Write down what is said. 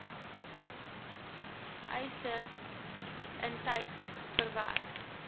eise intyds verwerk